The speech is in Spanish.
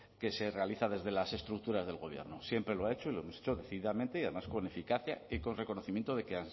que se realiza desde las estructuras del gobierno siempre lo ha hecho y lo hemos hecho decididamente y además con eficacia y con reconocimiento de que